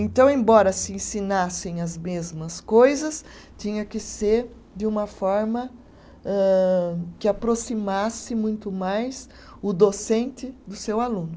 Então, embora se ensinassem as mesmas coisas, tinha que ser de uma forma âh, que aproximasse muito mais o docente do seu aluno.